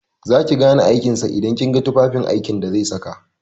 Za ki gane aikin sa idan kin ga tufafin aiki da zai saka.